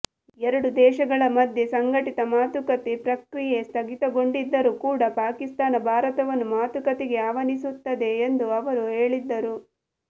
ಎರಡು ದೇಶಗಳ ಮಧ್ಯೆ ಸಂಘಟಿತ ಮಾತುಕತೆ ಪ್ರಕ್ರಿಯೆ ಸ್ಥಗಿತಗೊಂಡಿದ್ದರೂ ಕೂಡ ಪಾಕಿಸ್ತಾನ ಭಾರತವನ್ನು ಮಾತುಕತೆಗೆ ಆಹ್ವಾನಿಸುತ್ತದೆ ಎಂದು ಅವರು ಹೇಳಿದ್ದರು